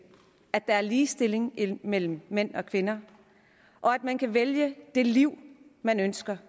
at der er ligestilling mellem mænd og kvinder og at man kan vælge det liv man ønsker